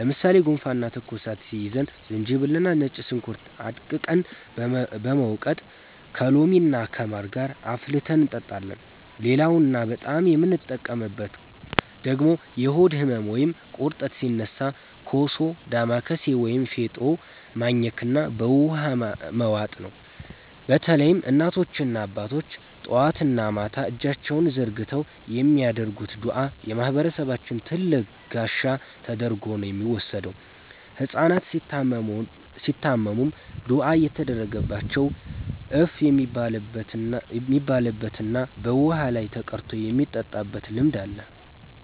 ለምሳሌ ጉንፋንና ትኩሳት ሲይዘን ዝንጅብልና ነጭ ሽንኩርት አድቅቀን በመውቀጥ ከሎሚና ከማር ጋር አፍልተን እንጠጣለን። ሌላውና በጣም የምንጠቀምበት ደግሞ የሆድ ህመም ወይም ቁርጠት ሲነሳ ኮሶ፣ ዳማከሴ ወይም ፌጦ ማኘክና በውሃ መዋጥ ነው። በተለይም እናቶችና አባቶች ጠዋትና ማታ እጃቸውን ዘርግተው የሚያደርጉት ዱዓ የማህበረሰባችን ትልቅ ጋሻ ተደርጎ ነው የሚወሰደው። ህጻናት ሲታመሙም ዱዓ እየተደረገባቸው እፍ የሚባልበትና በውሃ ላይ ተቀርቶ የሚጠጣበት ልማድ አለ።